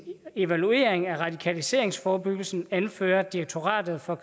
evaluering af radikaliseringsforebyggelsen anfører direktoratet for